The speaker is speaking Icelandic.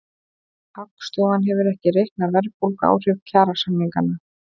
Hagstofan hefur ekki reiknað verðbólguáhrif kjarasamninganna